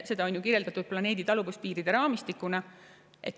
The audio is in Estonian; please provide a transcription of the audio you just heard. Seda on ju kirjeldatud planeedi taluvuspiiride raamistikuna.